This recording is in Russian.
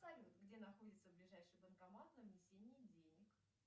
салют где находится ближайший банкомат для внесения денег